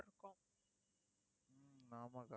ஹம் ஆமா அக்கா